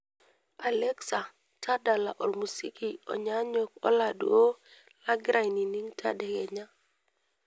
alexa tadala ormuziki onyanyok oladuo lagira aining tadekenya